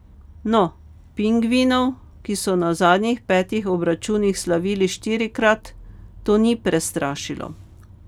No, pingvinov, ki so na zadnjih petih obračunih slavili štirikrat to ni prestrašilo.